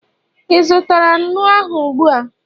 ị zụtara nnu ahụ ụgbua?